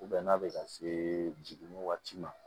n'a bɛ ka se jiginni waati ma